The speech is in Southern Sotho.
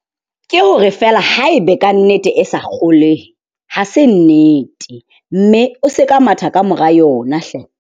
Ke hore feela haebe kannete e sa kgolehe ha se nnete mme o se ka matha kamora yona hle.